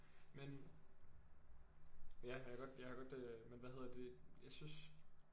Men ja jeg kan godt jeg kan godt øh men hvad hedder det jeg synes